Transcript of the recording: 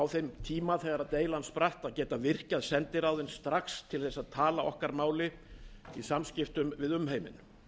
þeim tíma þegar deilan spratt upp að geta virkjað sendiráðin strax til þess að tala okkar máli í samskiptum við umheiminn